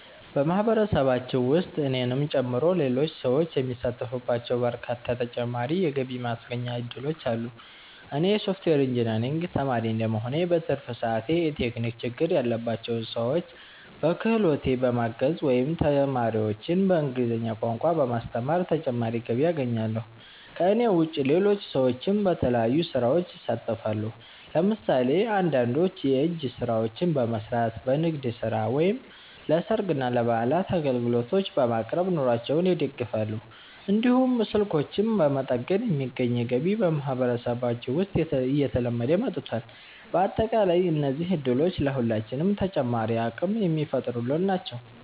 በማህበረሰባችን ውስጥ እኔንም ጨምሮ ሌሎች ሰዎች የሚሳተፉባቸው በርካታ ተጨማሪ የገቢ ማስገኛ እድሎች አሉ። እኔ የሶፍትዌር ኢንጂነሪንግ ተማሪ እንደመሆኔ፣ በትርፍ ሰዓቴ የቴክኒክ ችግር ያለባቸውን ሰዎች በክህሎቴ በማገዝ ወይም ተማሪዎችን በእንግሊዝኛ ቋንቋ በማስተማር ተጨማሪ ገቢ አገኛለሁ። ከእኔ ውጭ ሌሎች ሰዎችም በተለያዩ ስራዎች ይሳተፋሉ። ለምሳሌ አንዳንዶች የእጅ ስራዎችን በመስራት፣ በንግድ ስራ ወይም ለሰርግና ለበዓላት አገልግሎቶችን በማቅረብ ኑሯቸውን ይደግፋሉ። እንዲሁም ስልኮችን በመጠገን የሚገኝ ገቢ በማህበረሰባችን ውስጥ እየተለመደ መጥቷል። በአጠቃላይ እነዚህ እድሎች ለሁላችንም ተጨማሪ አቅም የሚፈጥሩልን ናቸው።